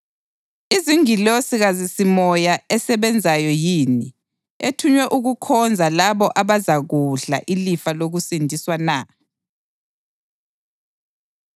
Izingilosi kazisimimoya esebenzayo yini, ethunywe ukukhonza labo abazakudla ilifa lokusindiswa na?